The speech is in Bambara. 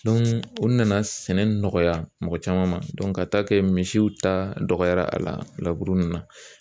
u nana sɛnɛ nɔgɔya mɔgɔ caman ma ka taa kɛ misiw ta dɔgɔyara a la laburu nunnu na